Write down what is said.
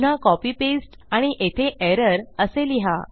पुन्हा copy paste आणि येथे एरर असे लिहा